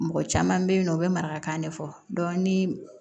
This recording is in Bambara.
Mɔgɔ caman bɛ yen nɔ u bɛ marakan de fɔ ni